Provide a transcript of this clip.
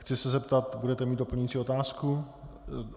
Chci se zeptat - budete mít doplňující otázku?